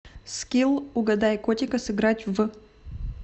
скилл угадай котика сыграть в